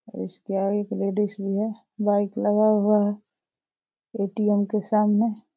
इसके आगे एक लेडीज भी है। बाइक लगा हुआ है ए.टी.एम. के सामने।